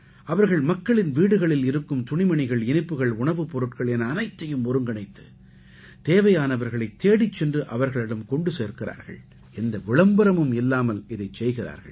அவர்கள் மக்களின் வீடுகளில் இருக்கும் துணிமணிகள் இனிப்புகள் உணவுப்பொருட்கள் என அனைத்தையும் ஒருங்கிணைத்து தேவையானவர்களைத் தேடிச் சென்று அவர்களிடம் கொண்டு சேர்க்கிறார்கள் எந்த விளம்பரமும் இல்லாமல் இதைச் செய்கிறார்கள்